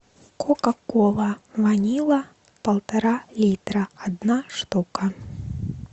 кока кола ванила полтора литра одна штука